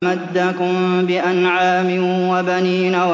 أَمَدَّكُم بِأَنْعَامٍ وَبَنِينَ